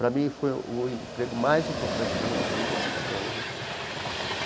Pra mim, foi o emprego mais importante da minha vida, até hoje.